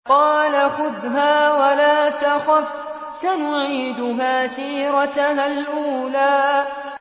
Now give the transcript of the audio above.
قَالَ خُذْهَا وَلَا تَخَفْ ۖ سَنُعِيدُهَا سِيرَتَهَا الْأُولَىٰ